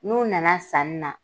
N'u nana sanni na